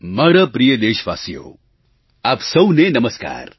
મારા પ્રિય દેશવાસીઓ આપ સૌને નમસ્કાર